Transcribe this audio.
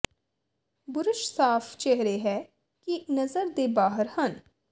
brush ਸਾਫ਼ ਚਿਹਰੇ ਹੈ ਕਿ ਨਜ਼ਰ ਦੇ ਬਾਹਰ ਹਨ